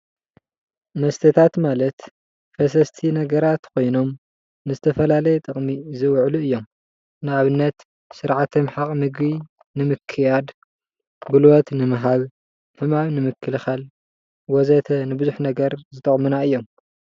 መስተታት ማለት ፈሰስቲ ነገራት ኾይኖም ንዝተፈላለየ ጥቅሚ ዝውዕሉ እዮም፡፡ ንኣብነት ስርዓተ ምሕቓቕ ምግቢ ንምክያድ፣ ጉልበት ንምሃብ፣ ሕማም ንምክልኻል ወዘተ ንብዙሕ ነገር ዝጠቅሙና እዮም፡፡